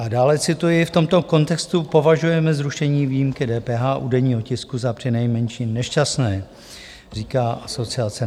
A dále, cituji: "V tomto kontextu považujeme zrušení výjimky DPH u denního tisku za přinejmenším nešťastné," říká asociace.